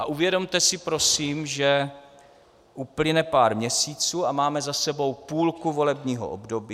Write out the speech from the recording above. A uvědomte si prosím, že uplyne pár měsíců, a máme za sebou půlku volebního období.